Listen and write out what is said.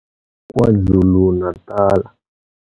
KwaZulu-Natal.